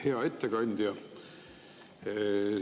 Hea ettekandja!